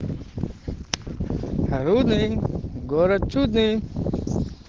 рудный город чудный